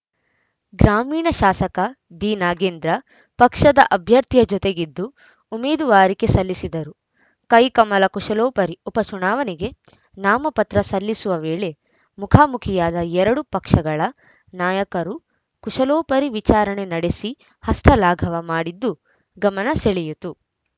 ಗ್ರಾಮೀಣ ಶಾಸಕ ಬಿನಾಗೇಂದ್ರ ಪಕ್ಷದ ಅಭ್ಯರ್ಥಿಯ ಜೊತೆಗಿದ್ದು ಉಮೇದುವಾರಿಕೆ ಸಲ್ಲಿಸಿದರು ಕೈಕಮಲ ಕುಶಲೋಪರಿ ಉಪ ಚುನಾವಣೆಗೆ ನಾಮಪತ್ರ ಸಲ್ಲಿಸುವ ವೇಳೆ ಮುಖಾಮುಖಿಯಾದ ಎರಡು ಪಕ್ಷಗಳ ನಾಯಕರು ಕುಶಲೋಪರಿ ವಿಚಾರಣೆ ನಡೆಸಿ ಹಸ್ತಲಾಘವ ಮಾಡಿದ್ದು ಗಮನ ಸೆಳೆಯಿತು